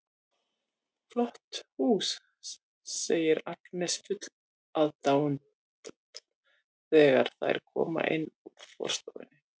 Flott hús, segir Agnes full aðdáunar þegar þær koma inn úr forstofunni.